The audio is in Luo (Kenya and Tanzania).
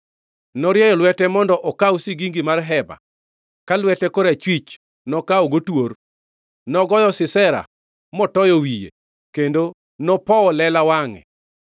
Norieyo lwete mondo okaw sigingi mar hema, ka lwete korachwich nokawogo twor. Nogoyo Sisera, motoyo wiye, kendo nopowo lela wangʼe.